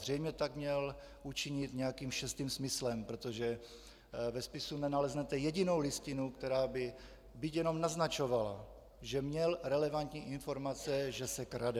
Zřejmě tak měl učinit nějakým šestým smyslem, protože ve spisu nenaleznete jedinou listinu, která by byť jenom naznačovala, že měl relevantní informace, že se krade.